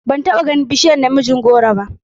Ban taba ganin bishiyar namijin goro ba.